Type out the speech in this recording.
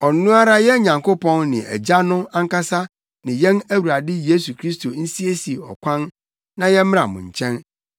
Ɔno ara yɛn Nyankopɔn ne Agya no ankasa ne yɛn Awurade Yesu Kristo nsiesie ɔkwan na yɛmmra mo nkyɛn.